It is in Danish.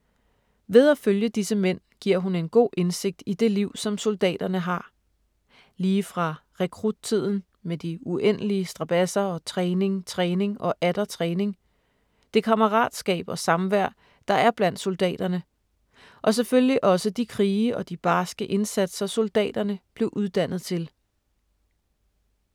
Ved at følge disse mænd giver hun en god indsigt i det liv, som soldaterne har. Lige fra rekruttiden med de uendelige strabadser og træning, træning og atter træning. Det kammeratskab og samvær, der er blandt soldaterne. Og selvfølgelig også de krige og de barske indsatser, soldaterne blev uddannet til.